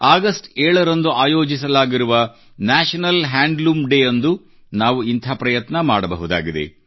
August 7 ರಂದು ಆಯೋಜಿಸಲಾಗಿರುವ national handloom ಡೇ ಯಂದು ನಾವು ಇಂಥ ಪ್ರಯತ್ನ ಮಾಡಬಹುದಾಗಿದೆ